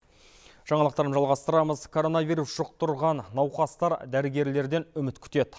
жаңалықтарымызды жалғастырамыз коронавирус жұқтырған науқастар дәрігерлерден үміт күтеді